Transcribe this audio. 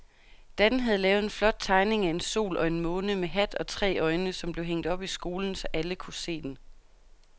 Dan havde lavet en flot tegning af en sol og en måne med hat og tre øjne, som blev hængt op i skolen, så alle kunne se den.